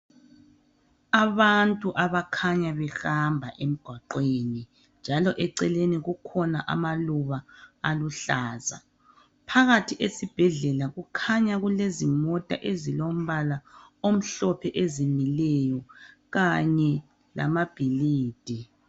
Abantu abakhanya behamba emgwaqweni njalo eceleni kukhona amaluba aluhlaza. Phakathi esibhedlela kukhanya kulezimota ezilombala omhlophe ezimileyo kanye lamabhilidi.